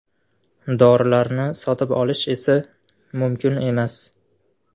Dorilarni sotib olish esa mumkin emas!